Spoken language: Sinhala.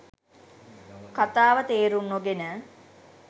කතාව තේරුම් නොගෙන